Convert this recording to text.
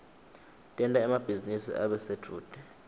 tenta emabhizinisi abe sedvute